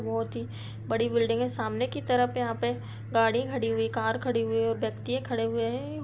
बहोत ही बड़ी बिल्डिंग है सामने की तरफ यहाँ पे गाड़ी खड़ी हुईकार खड़ी हुई और व्यक्तिये खड़े हुए हैं।